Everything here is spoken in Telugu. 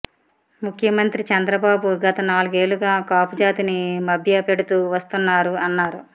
ముఖ్యమంత్రి చంద్రబాబు గత నాలుగేళ్లుగా కాపు జాతిని మభ్య పెడుతూ వస్తున్నారు అన్నారు